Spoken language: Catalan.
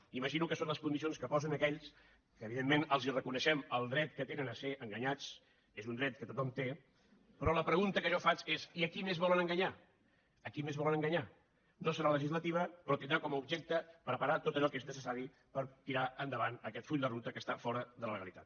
m’imagino que són les condicions que posen aquells a qui evidentment reconeixem el dret que tenen a ser enganyats és un dret que tothom té però la pregunta que jo faig és i a qui més volen enganyar a qui més volen enganyar no serà legislativa però tindrà com a objecte preparar tot allò que és necessari per tirar endavant aquest full de ruta que està fora de la legalitat